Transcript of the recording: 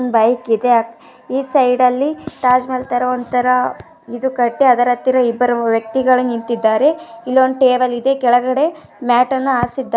Bike ಇದೆ. ಈ side ಅಲ್ಲಿ ತಾಜ್ ಮಹಲ್ ತರಾ ಒಂದ್ ತರಾ ಇದು ಕಟ್ಟಿ ಅದರ ಹತ್ತಿರಾ ಇಬ್ಬರು ವ್ಯಕ್ತಿಗಳ ನಿಂತಿದ್ದಾರೆ. ಇಲ್ಲೊಂದ್ ಟೇಬಲ್ ಇದೆ. ಕೆಳಗಡೆ ಮ್ಯಾಟ್ ಅನ್ನಾ ಹಾಸಿದ್ದಾ --